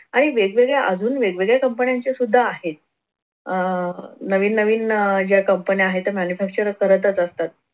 आणि वेगवेगळ्या अजून वेगवेगळ्या कंपन्यांचे सुद्धा आहेत. अह नवीन नवीन अह ज्या कंपन्या आहेत त्या manufacturer करतच असतात